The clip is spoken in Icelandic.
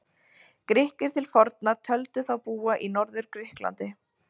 Grikkir til forna töldu þá búa í Norður-Grikklandi.